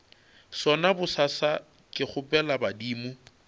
sona bosasa ke kgopela badimo